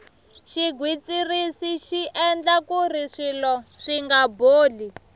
xigwitsirisi xi endla kuri swilo swinga boli